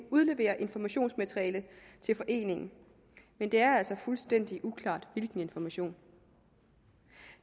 udlevere informationsmateriale til foreningen men det er altså fuldstændig uklart hvilken information